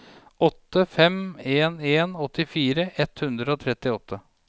åtte fem en en åttifire ett hundre og trettiåtte